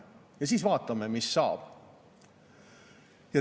Ja siis vaatame, mis saab.